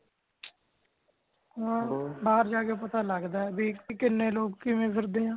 ਹਾਂ ਬਾਹਰ ਜਾ ਕੇ ਪਤਾ ਲੱਗਦਾ ਕੀ ਬਈ ਕਿਨੇ ਲੋਗ ਕਿਵੇਂ ਫਿਰਦੇ ਆ